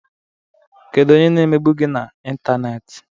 Kedu onye na-emegbu gị na intanneti?